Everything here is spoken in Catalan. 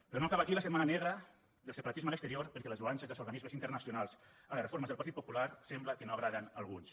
però no acaba aquí la setmana negra del separatisme a l’exterior perquè les lloances dels organismes internacionals a les reformes del partit popular sembla que no agraden a alguns